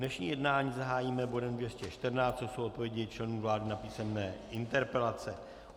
Dnešní jednání zahájíme bodem 214, to jsou odpovědi členů vlády na písemné interpelace.